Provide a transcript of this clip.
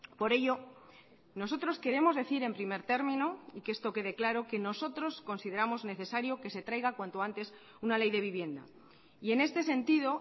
por ello nosotros queremos decir en primer término y que esto quede claro que nosotros consideramos necesario que se traiga cuanto antes una ley de vivienda y en este sentido